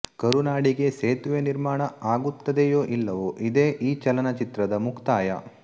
ಕರುನಾಡಿಗೆ ಸೇತುವೆ ನಿರ್ಮಾಣ ಅಗುತ್ತದೆಯೋ ಇಲ್ಲವೋ ಇದೇ ಈ ಚಲನಚಿತ್ರದ ಮುಕ್ತಾಯ